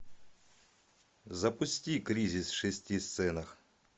запусти кризис в шести сценах